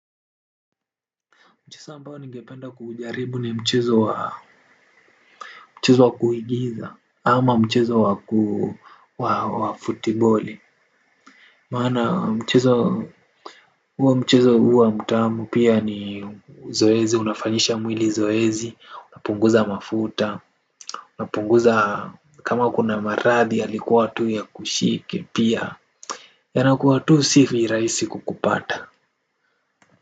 Mchezo ambao ningependa kuujaribu ni mchezo wa kuigiza ama mchezo wa ku wa futiboli. Maana mchezo huwa mchezo huwa mtamu pia ni zoezi, unafanyisha mwili zoezi, unapunguza mafuta. Unapunguza kama kuna marathi ya likuwa tu ya kushike pia. Yanakuwa tu sivirahisi kukupata.